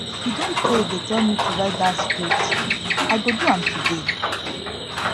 e don tey dey tell me to write dat script i go do am today